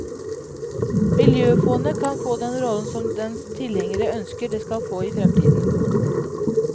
Miljøfondet kan få den rollen som dens tilhengere ønsker det skal få i fremtiden.